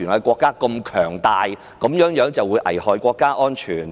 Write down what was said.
國家如此強大，這樣便能危害其安全？